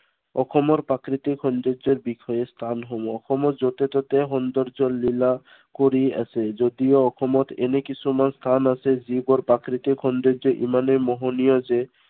অসমৰ প্ৰাকৃতিক সৌন্দৰ্যৰ বিষয়ে স্থানসমূহ। অসমত য'তে ত'তে সৌন্দৰ্য লীলা কৰি আছে যদিও অসমত এনে কিছুমান স্থান আছে, যিবোৰ প্ৰাকৃতিক সৌন্দৰ্য ইমানেই মোহনীয় যে